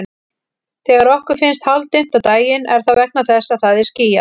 Þegar okkur finnst hálfdimmt á daginn er það vegna þess að það er skýjað.